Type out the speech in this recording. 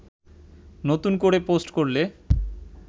নতুন করে পোস্ট করলে